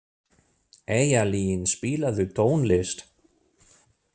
Eyjalín, spilaðu tónlist.